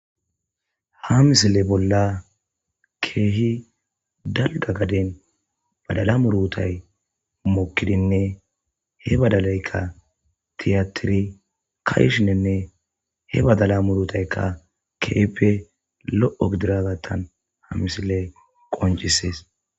Ha misile bolla keehi dalgga gaden badala muurutay mokkidinne he badalaykka tiyatiri ka'ishininne he badala muurutaykka keehippe lo'o gidiagattan ha misiley qonccisees.